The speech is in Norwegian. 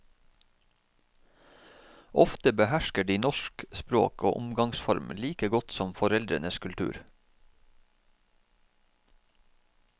Ofte behersker de norsk språk og omgangsform like godt som foreldrenes kultur.